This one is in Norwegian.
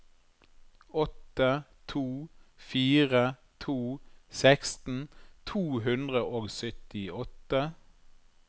åtte to fire to seksten to hundre og syttiåtte